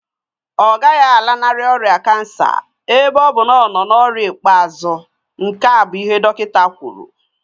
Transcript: Ọ gaghị alanarị ọrịa kansa ebe ọ bụ na ọ nọ n'ọkwa ikpeazụ, nke a bụ ihe dọkịta kwuru